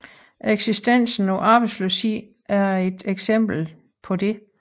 Eksistensen af arbejdsløshed er et eksempel herpå